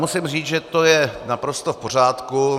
Musím říct, že to je naprosto v pořádku.